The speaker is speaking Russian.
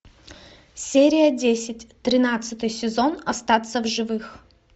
серия десять тринадцатый сезон остаться в живых